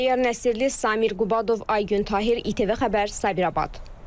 Təyyar Nəsirli, Samir Qubadov, Aygün Tahir, ITV Xəbər, Sabirabad.